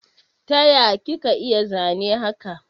Taya kika iya zane haka?